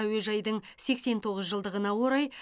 әуежайдың сексен тоғыз жылдығына орай